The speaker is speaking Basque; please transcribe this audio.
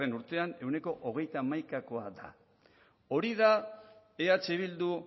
urtean ehuneko hogeita hamaikakoa da hori da eh bildu